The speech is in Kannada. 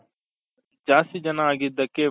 ಜಾಸ್ತಿ ಜನ ಆಗಿದ್ದಕ್ಕೆ